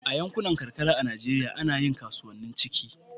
a yankunan karkara a Najeriya ana yin kasuwanni cikin